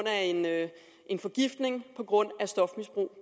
af en forgiftning på grund af stofmisbrug